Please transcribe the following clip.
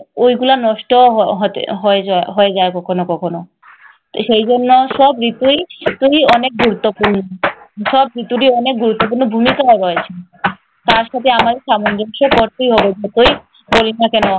ওইগুলা নষ্ট হ~ হতে~ হয়ে যায়~ হয়ে যায় কখনো কখনো। সেই জন্যে সব ঋতুই অনেক গুরুত্বপূর্ণ। সব ঋতুরই অনেক গুরুত্বপূর্ণ ভূমিকা রয়েছে। তার সাথে আমাদের সামঞ্জস্য করতেই হবে। যতই করি না কেন।